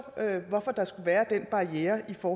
hvorfor der skal være den barriere for